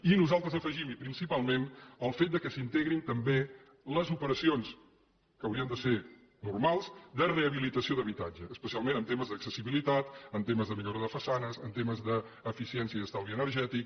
i nosaltres hi afegim i principalment el fet que s’hi integrin també les operacions que haurien de ser normals de rehabilitació d’habitatge especialment en temes d’accessibilitat en temes de millora de façanes en temes d’eficiència i estalvi energètic